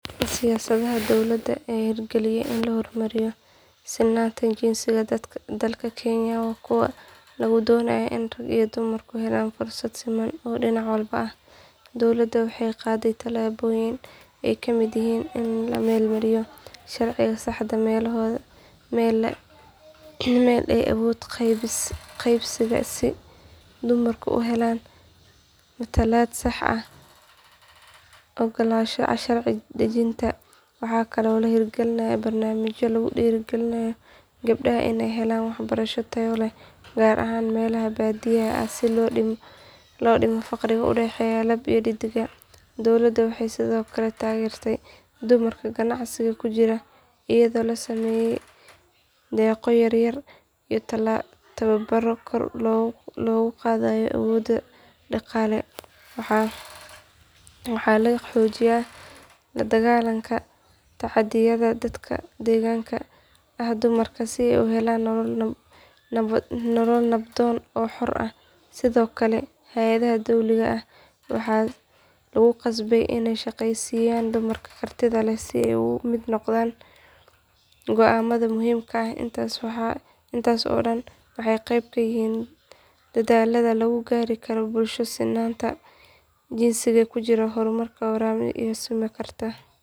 Siyaasadaha dowladda ee la hirgeliyay si loo hormariyo sinnaanta jinsiga dalka kenya waa kuwa lagu doonayo in ragga iyo dumarku helaan fursado siman oo dhinac walba ah. Dowladda waxay qaaday tallaabooyin ay ka mid yihiin in la meel mariyo sharciga saddex meelood meel ee awood qaybsiga si dumarku ugu helaan matalaad sax ah golayaasha sharci dejinta. Waxaa kale oo la hirgeliyay barnaamijyo lagu dhiirrigelinayo gabdhaha inay helaan waxbarasho tayo leh gaar ahaan meelaha baadiyaha ah si loo dhimo farqiga u dhexeeya lab iyo dheddig. Dowladda waxay sidoo kale taageertay dumarka ganacsiga ku jira iyadoo loo sameeyay deeqo yar yar iyo tababaro kor loogu qaadayo awooddooda dhaqaale. Waxaa la xoojiyay la dagaalanka tacaddiyada ka dhanka ah dumarka si ay u helaan nolol nabdoon oo xor ah. Sidoo kale, hay’adaha dowliga ah waxaa lagu qasbay in ay shaqaaleysiiyaan dumarka kartida leh si ay uga mid noqdaan go’aamada muhiimka ah. Intaas oo dhan waxay qayb ka yihiin dadaallada lagu gaari karo bulsho sinnaanta jinsigu ka jirto oo horumar waara samayn karta.